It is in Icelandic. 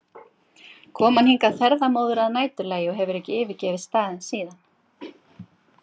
kom hann hingað ferðamóður að næturlagi og hefur ekki yfirgefið staðinn síðan.